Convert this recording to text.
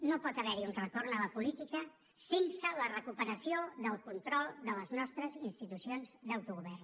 no pot haver hi un retorn a la política sense la recuperació del control de les nostres institucions d’autogovern